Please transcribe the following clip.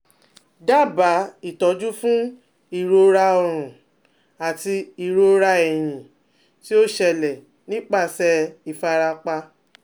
Dábàá ìtọ́jú fún ìrora ọrùn àti ìrora ẹ̀yìn tí ó ṣẹlẹ̀ nípasẹ̀ ìfarapa